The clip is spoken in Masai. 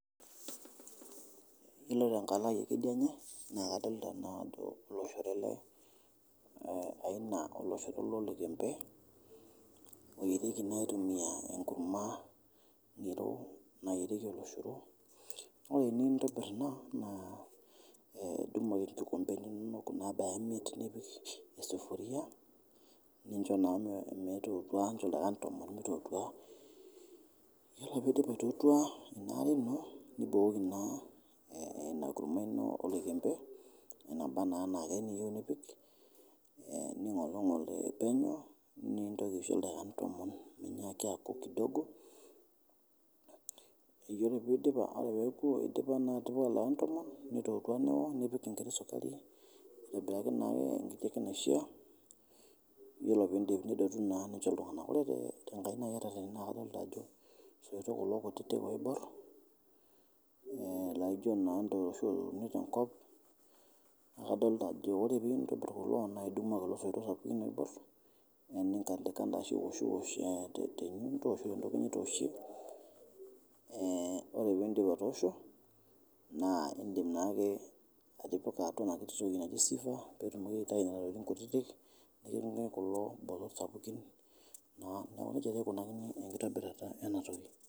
Iyolo te nkaina aai ekideinye naa kadolita naa ajo iloshoro ale aina e oloshoro le olekembe oyereki naa aitumiya enkumaa nayereki oloshoro, nww ore inintibir ina naa idumu olkikombe lino nimuk nipik isufuria nincho naa meitootua nincho oldakikani tomon meitootua ,iyolo peidip aitootua ina are ino nibukoki naa ina kurumwa ino oloikembe enabaa naa anaa kaeyeu nipik, ning'plng'ol oeneu nintoki aicho ldakikani tomon meinyaaki aku kidogo, iyolo peoku paa eidipa naa atipika ldakikani tomon neitootua neo nipik inkiti isukari aitabaki naake eweji neishaa ,iyolo piindip nidotu naa nincho ltunganak, ore te nkainai etetene naa kadolita ajo osito kulo kutiti oibuar naaijo naa etooshoki te nkop naa kadolita ajo ore pintibir naa idumu kulo soito oibuar naa nitanditanda aoshie te ntoki nitooshie ,ore piindip atoosho naa indim naake atipika noshi toki naji siever peetumoki aitayu nenia tokitin kutiti naa neja ake eikunakini nkitobirata ena toki.